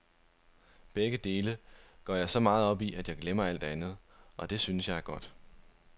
Begge dele går jeg så meget op i, at jeg glemmer alt andet, og det synes jeg er godt.